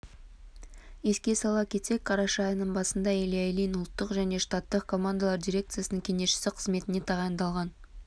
еске сала кетсек қараша айының басында илья ильин ұлттық және штаттық командалар дирекциясының кеңесшісі қызметіне тағайындалған